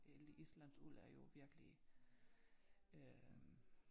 Øh islandsk uld er jo virkelig øh